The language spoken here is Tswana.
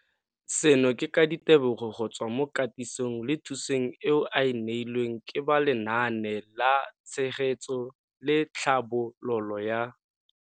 Seno ke ka ditebogo go tswa mo katisong le thu song eo a e neilweng ke ba Lenaane la Tshegetso le Tlhabololo ya.